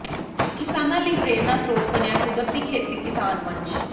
ਕਿਸਾਨਾਂ ਲਈ ਪ੍ਰੇਰਨਾ ਸਰੋਤ ਬਣਿਆ ਕੁਦਰਤੀ ਖੇਤੀ ਕਿਸਾਨ ਮੰਚ